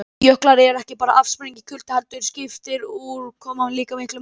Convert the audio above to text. Jöklar eru ekki bara afsprengi kulda heldur skiptir úrkoma líka miklu máli.